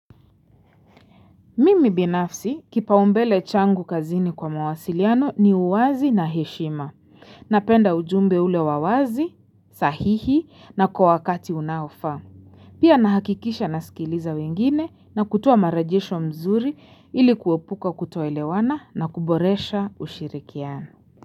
Mimi binafsi kipaumbele changu kazini kwa mawasiliano ni uwazi na heshima. Napenda ujumbe ule wa wazi, sahihi na kwa wakati unaofaa. Pia nahakikisha nasikiliza wengine na kutua marejesho mzuri ilikuopuka kutoelewana na kuboresha ushirikiano.